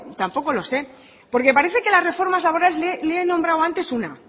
tampoco lo sé porque parece que la reforma laboral le nombrado antes una